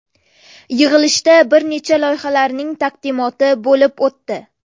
Yig‘ilishda bir nechta loyihalarning taqdimoti bo‘lib o‘tdi.